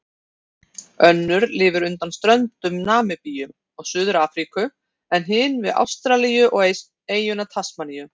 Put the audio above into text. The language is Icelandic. Önnur lifir undan ströndum Namibíu og Suður-Afríku en hin við Ástralíu, við eyjuna Tasmaníu.